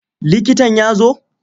Likitan ya zo?